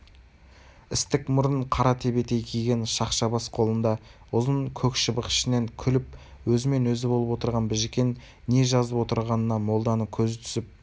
істік мұрын қара тебетей киген шақша бас қолында ұзын көк шыбық ішінен күліп өзімен-өзі болып отырған біжікен не жазып отырғанына молданың көзі түсіп